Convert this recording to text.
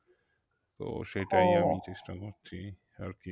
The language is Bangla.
তো সেটাই চেষ্টা করছি আরকি